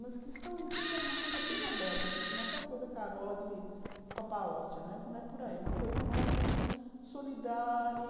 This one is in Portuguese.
Mas cristão, entenda, era uma coisa bem aberta, gente, não é aquela coisa carola dede Papa Óstia, não é por aí, é uma coisa mais solidária.